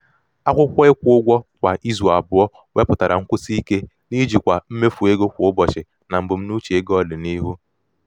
akwụkwọ ịkwụ ụgwọ kwa izu abụọ wepụtara nkwụsị ike n'ijikwa mmefu ego kwa ụbọchị na mbunuche ego ọdịnihu.